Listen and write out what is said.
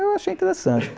Eu achei interessante.